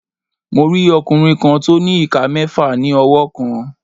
Mo rí ọkùnrin kan tó ní ìka mẹ́ẹ̀fà ní ọwọ́ kan.